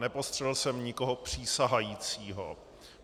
Nepostřehl jsem nikoho přísahajícího.